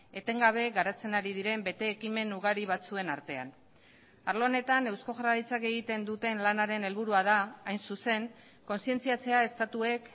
etengabe garatzen ari diren bete ekimen ugari batzuen artean arlo honetan eusko jaurlaritzak egiten duten lanaren helburua da hain zuzen kontzientziatzea estatuek